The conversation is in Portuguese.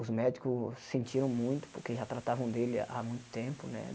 Os médicos sentiram muito, porque já tratavam dele há muito tempo, né?